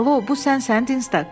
Alo, bu sənsən Dinstak.